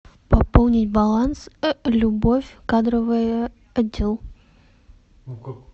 пополнить баланс любовь кадровый отдел